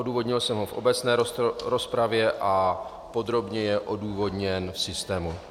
Odůvodnil jsem ho v obecné rozpravě a podrobně je odůvodněn v systému.